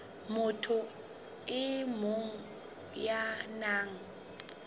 motho e mong ya nang